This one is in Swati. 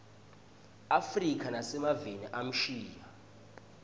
afrika nasemaveni amshiya